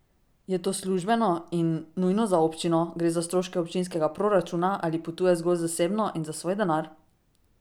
Je to službeno in nujno za občino, gre za stroške občinskega proračuna ali potuje zgolj zasebno in za svoj denar?